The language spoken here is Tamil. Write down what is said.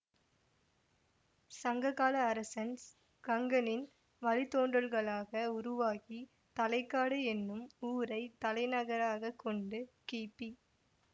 சங்ககால அரசன் கங்கனின் வழித்தோன்றல்களாக உருவாகி தலைக்காடு என்னும் ஊரைத் தலைநகராக கொண்டு கிபி